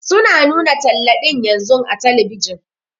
Su na nuna talla ɗin yanzun a telebijin.